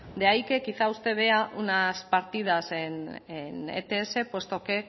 de ahí que quizás usted vea unas partidas en ets puesto que